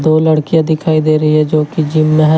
दो लड़कियां दिखाई दे रही है जो कि जिम में है।